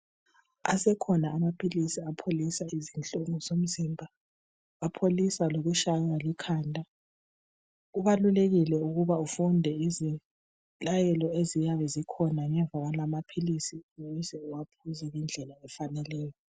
Esekhona amapilisi apholisa izinhlungu zomzimba. Apholisa ngotshayiwa likhanda. Kubalulekile ukuba ufunde izilayelo eziyabe zikhona ngemuva kwalawa mapilisi ukuze uwanathe ngendlela efaneleneyo.